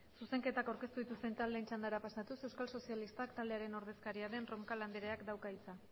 zuzenketak aurkeztu dituzten taldeen txandara pasatuz euskal sozialistak taldearen ordezkaria den roncal andereak dauka hitza